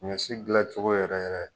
Saɲɔ si dilancogo yɛrɛ yɛrɛ.